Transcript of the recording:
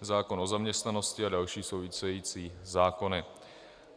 zákon o zaměstnanosti a další související zákony.